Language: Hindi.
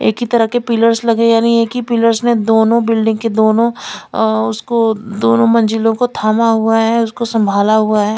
एक ही तरह के पिलर्स लगे हुए हैं यानि एक ही पिलर ने दोनों बिल्डिंग के दोनों अ उसको दोनों मंजिलो को थामा हुआ हैं उसको संभाला हुआ हैं।